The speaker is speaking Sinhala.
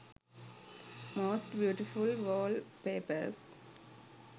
most beautiful wallpapers